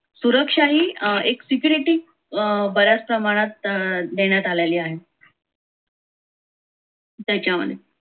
सुरक्षाही अं एक security बऱ्याच प्रमाणात अं देण्यात आलेली आहे. त्याच्या मध्ये,